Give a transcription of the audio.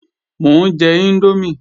Mò ń jẹ índómì